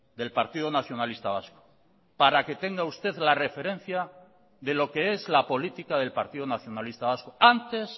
del partido nacionalista vasco para que tenga usted la referencia de lo que es la política del partido nacionalista vasco antes